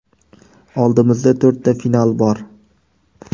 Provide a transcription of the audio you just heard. Oldimizda to‘rtta final bor.